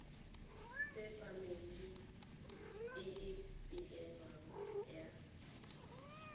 tsepameng e e beilweng ya